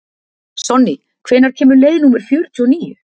Sonný, hvenær kemur leið númer fjörutíu og níu?